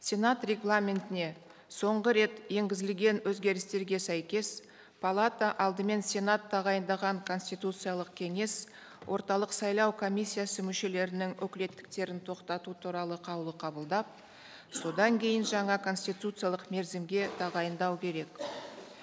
сенат регламентіне соңғы рет енгізілген өзгерістерге сәйкес палата алдымен сенат тағайындаған конституциялық кеңес орталық сайлау комиссиясы мүшелерінің өкілеттіктерін тоқтату туралы қаулы қабылдап содан кейін жаңа конституциялық мерзімге тағайындау керек